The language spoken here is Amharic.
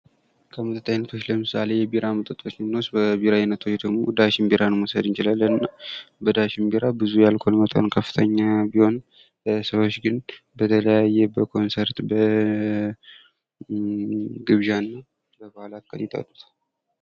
ከመጠጥ አይነቶች ለምሳሌ ቢራ መጠጦችን ብይወስድ የቢራ አይነት ዳሽን ቢራ በአልኮል መጠናቸው ከፍተኛ ቢሆንም ብዙ ሰው የሚጠቀምበት ነው።